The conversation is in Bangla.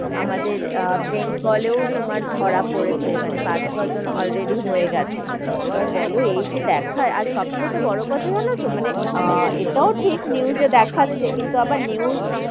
আমাদের বেঙ্গলেও তোমার ধরা পড়েছে, মানে পাঁচ-ছ জন already হয়ে গেছে, এবার বোলো এই যে দেখায়, আর সব বড়ো থেকে কথা যেন তো মানে আহ এটাও ঠিক news এ দেখাচ্ছে কিন্তু যাবার news,